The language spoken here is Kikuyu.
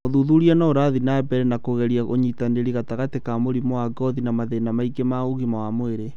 ũthuthuria nĩ ũrathiĩ na mbere na kũgeria ũnyitanĩri gatagati ka mũrimũ wa ngothi na mathĩna mangĩ ma ũgima wa mwĩrĩ